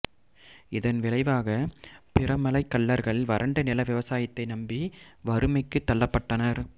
இதன் விளைவாக பிரமலைக் கள்ளர்கள் வறண்ட நில விவசாயத்தை நம்பி வறுமைக்கு தள்ளப்பட்டனர்